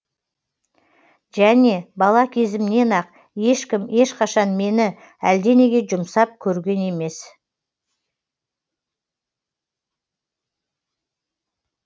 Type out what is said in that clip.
және бала кезімнен ақ ешкім ешқашан мені әлденеге жұмсап көрген емес